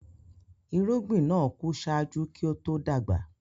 Irugbin naa ku ṣájú kí o to dagba.